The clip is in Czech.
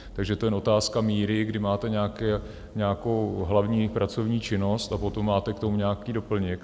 Takže to je jen otázka míry, kdy máte nějakou hlavní pracovní činnost a potom k tomu máte nějaký doplněk.